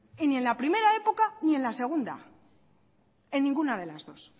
ni en la primera época ni en la segunda en ninguna de las dos